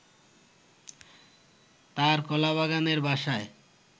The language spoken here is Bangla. তার কলাবাগানের বাসায়